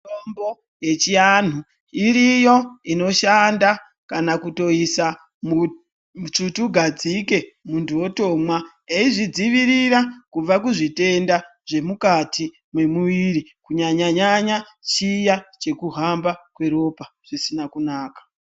Mitombo yechianhu iriyo inoshanda kana kutoisa musvutugadzike, munthu otomwa ,eizvidzivirira kubva kuzvitenda, zvemukati mwemuviri kunyanya-nyanya chiya chekuhamba kweropa zvisina kunaka.